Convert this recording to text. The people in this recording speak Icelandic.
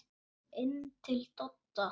Inn til Dodda.